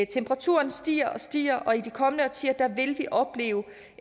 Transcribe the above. temperaturen stiger og stiger og i de kommende årtier vil vi opleve